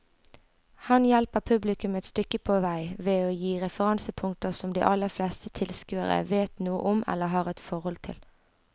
Han hjelper publikum et stykke på vei ved å gi referansepunkter som de aller fleste tilskuere vet noe om eller har et forhold til.